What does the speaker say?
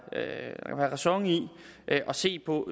ræson i at se på